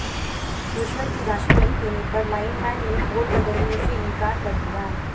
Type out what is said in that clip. रिश्वत की राशि नहीं देने पर लाइनमैन ने पोल बदलने से इंकार कर दिया